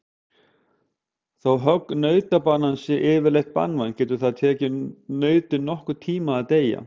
Þó högg nautabanans sé yfirleitt banvænt getur það tekið nautið nokkurn tíma að deyja.